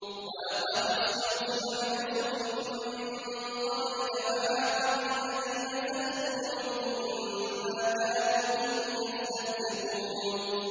وَلَقَدِ اسْتُهْزِئَ بِرُسُلٍ مِّن قَبْلِكَ فَحَاقَ بِالَّذِينَ سَخِرُوا مِنْهُم مَّا كَانُوا بِهِ يَسْتَهْزِئُونَ